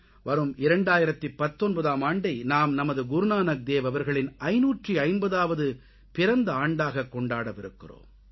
வரும் 2019ஆம் ஆண்டை நாம் நமது குருநானக் தேவ் அவர்களின் 550ஆவது பிறந்த ஆண்டாகக் கொண்டாடவிருக்கிறோம்